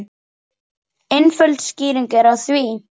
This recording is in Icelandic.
Einföld skýring er á því.